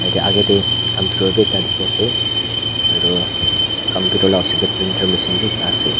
Tya agae dae computer bhi ekta dekhe ase aro computer la osor dae printer machine bhi ekta ase.